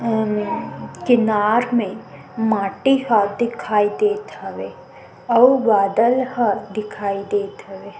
किनार मे माटी ह दिखाई देत हवे अउ बादल ह दिखाई देत हवे ।--